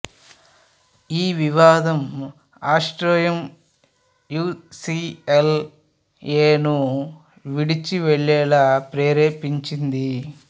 ఈ వివాదం Astrom U C L A ను విడిచి వెళ్ళేలా ప్రేరేపించింది